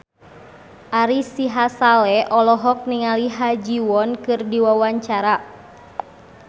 Ari Sihasale olohok ningali Ha Ji Won keur diwawancara